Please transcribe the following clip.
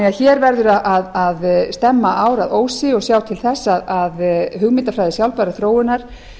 hér verður að stemma á að ósi og sjá til þess að hugmyndafræði sjálfbærrar þróunar